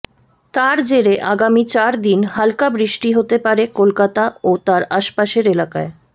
তার জেরে আগামী চার দিন হালকা বৃষ্টি হতে পারে কলকাতা ও তার আশপাশের এলাকায়